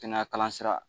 Kɛnɛya kalan sira